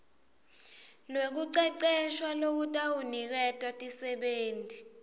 lwekucecesha lolutawuniketa tisebenti